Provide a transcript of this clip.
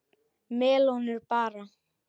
Melónur bara!